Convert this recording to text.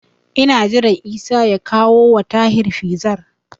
Ina jiran Isa ya kawowa Tahir Fizar.